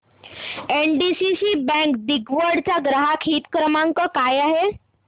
NDCC bank दिघवड चा ग्राहक हित क्रमांक काय आहे